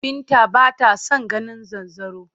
Binta b ata son ganin zanzaro.